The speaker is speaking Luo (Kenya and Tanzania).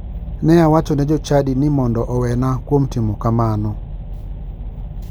Ne awacho ne jochadi ni mondo owena kuom timo kamano.